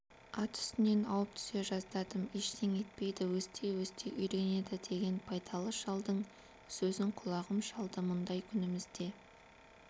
ат үстінен ауып түсе жаздадым ештеңе етпейді өсти-өсти үйренеді деген байдалы шалдың сөзін құлағым шалды мұндай күнімізде